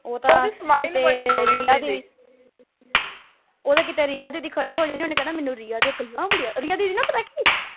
ਉਹ ਤਾਂ ਉਹ ਤੇ ਕੀਤੇ ਰਿਆ ਦੀਦੀ ਖੜੀ ਹੋ ਜਾਏ ਓਹਨੇ ਕਹਿਣਾ ਮੈਨੂੰ ਰਿਆ ਦੀਆਂ ਗੱਲਾਂ ਬੜੀਆਂ ਰਿਆ ਦੀਦੀ ਪਤਾ ਨਾ ਕਿ